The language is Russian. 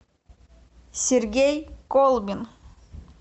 сергей колбин